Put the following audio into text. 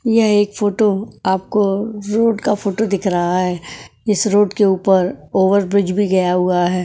यह एक फोटो आपको रोड का फोटो दिख रहा है इस रोड के ऊपर ओवर ब्रिज भी गया हुआ है।